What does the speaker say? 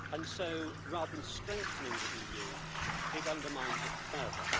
So, rather than strengthening the EU, it undermines it further.